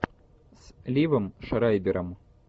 с ливом шрайбером